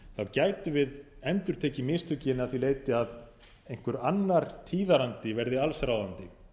gætum við endurtekið mistökin að því leyti að einhver annar tíðarandi verði allsráðandi